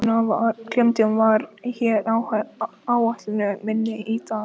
Klementína, hvað er á áætluninni minni í dag?